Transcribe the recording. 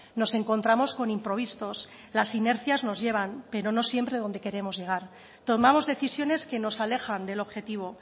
nos encontramos con improvistos las inercias nos llevan pero no siempre donde queremos llegar tomamos decisiones que nos alejan del objetivo